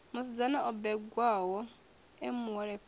musidzana o bebwaho e muholefhali